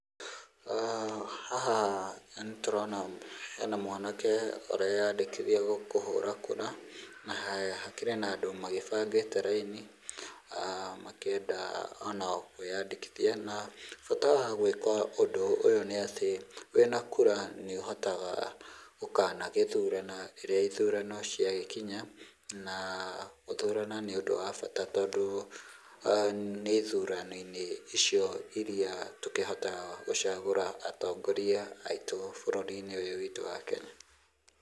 Haha nĩ tũrona hena mwanake ũreyandĩkithia kũhũra kura, na hakĩrĩ na andũ magĩbangĩte raini, makĩenda o nao kwĩyandĩkithia, na bata wa gwĩka ũndũ ũyũ nĩ atĩ wĩna kura nĩũhotaga gũkanagĩthurana rĩrĩa ithurano ciagĩkinya, na gũthurana nĩ ũndũ wa bata tondũ nĩ ithurano-inĩ icio iria tũkĩhotaga gũcagũra atongoria aitũ bũrũri-inĩ ũyũ witũ wa Kenya.